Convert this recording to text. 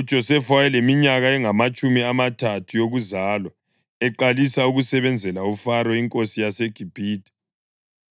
UJosefa wayeleminyaka engamatshumi amathathu yokuzalwa eqalisa ukusebenzela uFaro inkosi yaseGibhithe.